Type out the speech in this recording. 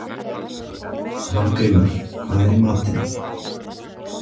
Hafgrímur, hvað er í matinn?